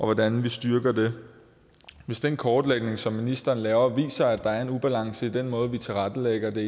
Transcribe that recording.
hvordan vi styrker det hvis den kortlægning som ministeren laver viser at der er en ubalance i den måde vi tilrettelægger det